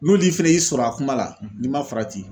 N'olu fɛnɛ y'i sɔrɔ a kuma la n'i ma farati